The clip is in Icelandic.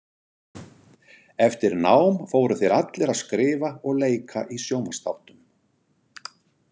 Eftir nám fóru þeir allir að skrifa og leika í sjónvarpsþáttum.